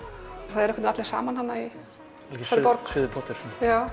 það eru einhvernveginn allir saman þarna algjör suðupottur já